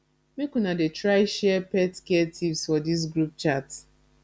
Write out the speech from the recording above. make una dey try share pet care tips for dis group chat